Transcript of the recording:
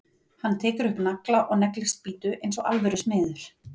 Hann tekur upp nagla og neglir spýtu eins og alvöru smiður.